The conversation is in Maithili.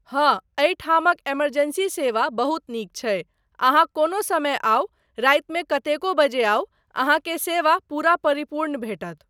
हाँ एहिठामक इमरजेंसी सेवा बहुत नीक छै, अहाँ कोनो समय आउ, रातिमे कतेको बजे आउ, अहाँकेँ सेवा पूरा परिपूर्ण भेटत।